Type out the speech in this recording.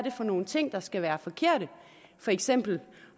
er for nogle ting der skal være forkerte for eksempel